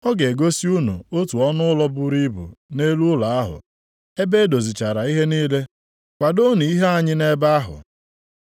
Ọ ga-egosi unu otu ọnụụlọ buru ibu nʼelu ụlọ ahụ, ebe e dozichara ihe niile. Kwadoonụ ihe anyị nʼebe ahụ.”